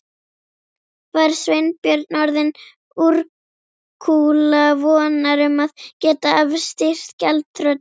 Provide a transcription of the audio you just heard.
Var Sveinbjörn orðinn úrkula vonar um að geta afstýrt gjaldþroti?